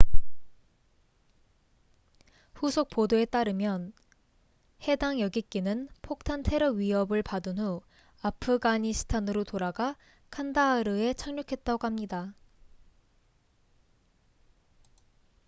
후속 보도에 따르민 해당 여객기는 폭탄 테러 위헙을 받은 후 아프가니스탄으로 돌아가 칸다하르에 착륙했다고 합니다